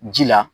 Ji la